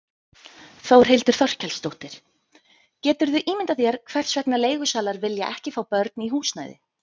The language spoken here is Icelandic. Þórhildur Þorkelsdóttir: Geturðu ímyndað þér hvers vegna leigusalar vilja ekki fá börn í húsnæði?